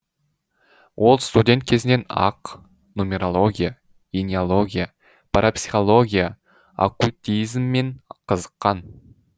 ол студент кезінен ақ нумерология эниология парапсихология оккультизммен қызыққан